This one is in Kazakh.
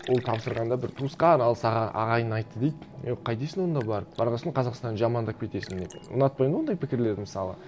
ол тапсырғанда бір туысқан алыс ағайын айтты дейді е қайтесің онда барып барған сон қазақстанды жамандап кетесің деп ұнатпаймын ондай пікірлерді мысалы